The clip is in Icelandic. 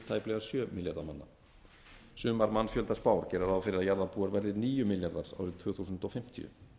tæplega sjö milljarða manna sumar mannfjöldaspár gera ráð fyrir að jarðarbúar verði níu milljarðar árið tvö þúsund fimmtíu